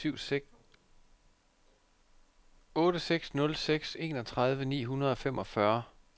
otte seks nul seks enogtredive ni hundrede og femogfyrre